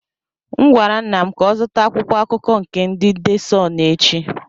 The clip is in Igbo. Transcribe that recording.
M gwara nna m ka ọ zụta akwụkwọ akụkọ nke ndị de Sunụ echi.